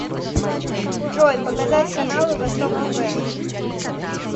джой показать каналы восток тв